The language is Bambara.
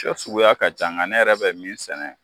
Tika suguya ka ca , nga ne yɛrɛ bɛ min sɛnɛ